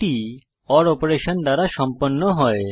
এটি ওর অপারেশন দ্বারা সম্পন্ন হয়